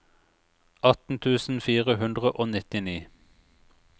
atten tusen fire hundre og nittini